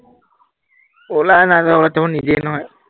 ওলাই নাই যোৱা মানে, যাব নিদিয়ে নহয়